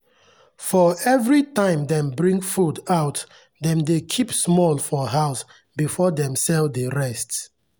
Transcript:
for every time dem bring food out dem dey keep small for house before dem sell the rest.